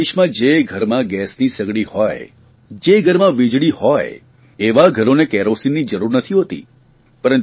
આપણા દેશમાં જે ઘરમાં ગેસની સગડી હોય જે ઘરમાં વીજળી હોય એવાં ઘરોને કેરોસીનની જરૂર નથી હોતી